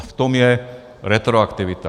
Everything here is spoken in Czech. A v tom je retroaktivita.